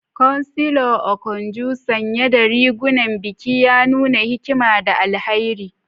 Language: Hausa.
Chancellor Okonjo, sanye da rigunan biki, ya nuna hikima da alheri.